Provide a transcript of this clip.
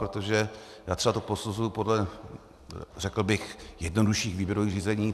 Protože já to třeba posuzuji podle, řekl bych, jednodušších výběrových řízení.